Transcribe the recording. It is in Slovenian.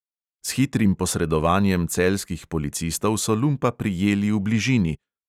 S hitrim posredovanjem celjskih policistov so lumpa prijeli v bližini.